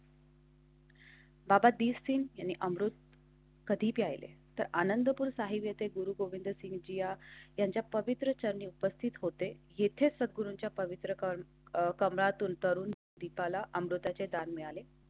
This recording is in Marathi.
बावीस तीन आणि अमृत. कधी प्यायले तर आनंदपुर साहिब येते. गुरु गोविंदसिंघजी यांच्या पवित्र चरणे उपस्थित होते. येथे सद्गुरूच्या पवित्र कार कमळातून तरून दीपाला अमृताचे दान मिळाले.